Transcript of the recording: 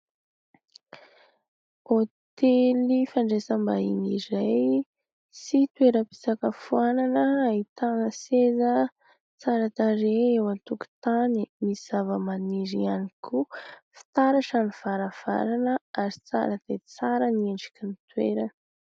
Hôtely fandraisam- bahiny iray sy toeram- pisakafoanana : ahitana seza tsara tarehy eo an- tokotany misy zavamaniry iany koa. Fitaratra ny varavarana ary tsara dia tsara ny endrik'ilay toerana.